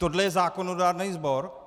Tohle je zákonodárný sbor?